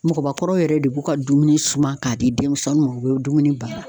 Mɔgɔbakɔrɔw yɛrɛ de b'u ka dumuni suma k'a di denmisɛnniw ma u be dumuni baara